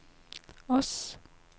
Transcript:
Ods